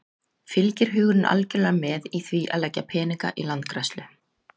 Fylgir hugurinn algjörlega með í því að leggja peninga í landgræðslu?